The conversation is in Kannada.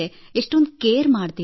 ಎಷ್ಟೊಂದು ಕೇರ್ ಮಾಡುತ್ತೀರಿ